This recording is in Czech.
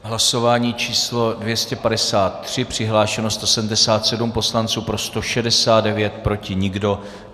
Hlasování číslo 253, přihlášeno 177 poslanců, pro 169, proti nikdo.